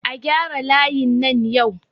A gyara layin nan yau!